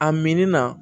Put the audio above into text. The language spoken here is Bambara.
A min na